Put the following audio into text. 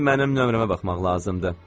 İndi mənim nömrəmə baxmaq lazımdır.